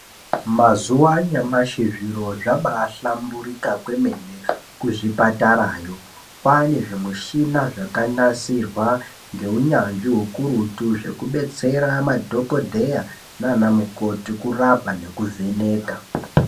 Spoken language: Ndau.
Mazuva anyamashi zviro zvabai hlamburika kwemene ku zvipatarayo kwane zvi mushina zvaka nasirwa nge unyanzvi ukurutu zvekubetsera madhokodheya nana mukoti kurapa neku vheneka.